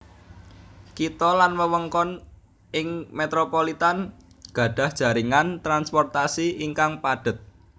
Kitha lan wewengkon ing metropolitan gadhah jaringan transportasi ingkang padhet